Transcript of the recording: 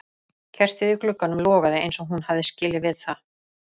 Kertið í glugganum logaði eins og hún hafði skilið við það.